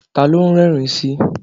Ta ló ń rẹ́rìn-ín sí?